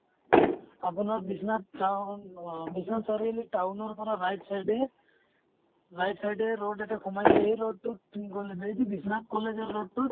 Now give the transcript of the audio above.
আপনাৰ বিশ্বনাথ town অহ Biswanath Chariali town ৰ পৰা right side য়ে right side য়ে road এটা সোমাইছে এই road টো কি গʼলে বিশ্বনাথ college ৰ road টোত